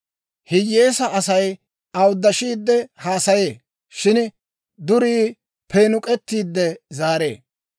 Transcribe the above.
Hiyyeesaa Asay awuddashiide haasayee; shin durii peenuk'k'eetiide zaaree.